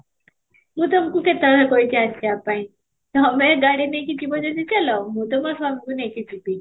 ମୁଁ ତମକୁ କେତେ ବେଳେ କହିଛି ଆସିବା ପାଇଁ ତୋମେ ଗାଡି ନେଇକି ଯିବ ଯଦି ଚାଲ, ମୁଁ ତ ମୋ ସ୍ବାମୀ କୁ ନେଇକି ଯିବି